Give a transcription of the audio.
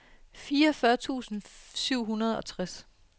fireogfyrre tusind syv hundrede og tres